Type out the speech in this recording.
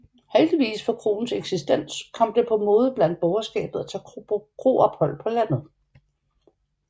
Heldigvis for kroens eksistens kom det på mode blandt borgerskabet at tage på kroophold på landet